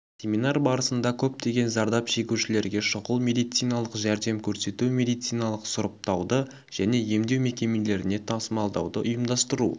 семинар барысында көптеген зардап шегушілерге шұғыл медициналық жәрдем көрсету медициналық сұрыптауды және емдеу мекемелеріне тасымалдауды ұйымдастыру